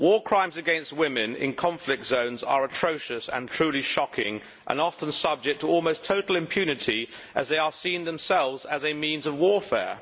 War crimes against women in conflict zones are atrocious and truly shocking and often subject to almost total impunity, as they are seen themselves as a means of warfare.